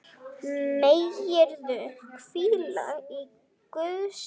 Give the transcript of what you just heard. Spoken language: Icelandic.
Megirðu hvíla í Guðs friði.